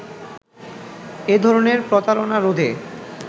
এধরনের প্রতারনা রোধে